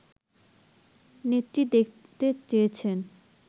নেত্রী দেখতে চেয়েছেন